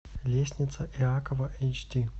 лестница иакова эйч ди